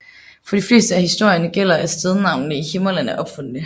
For de fleste af historierne gælder at stednavnene i Himmerland er opfundne